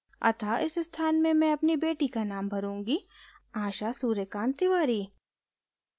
अतः इस स्थान में मैं अपनी बेटी का नाम भरूँगी आशा सूर्यकान्त तिवारी